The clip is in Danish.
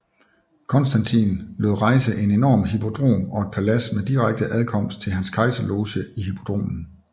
Konstantin lod rejse en enorm hippodrom og et palads med direkte adkomst til hans kejserloge i hippodromen